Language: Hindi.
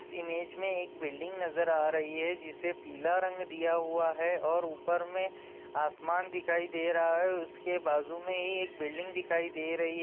इस एमगे में एक बुलदिङ दिख रही है जिसमें पेला और उपेर में आसमान दिखाई दे रहा है उसके बाजू में ए ]